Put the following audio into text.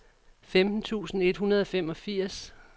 femten tusind et hundrede og femogfirs